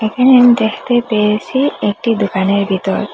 এখানে আমি দেখতে পেয়েসি একটি দোকানের ভিতর--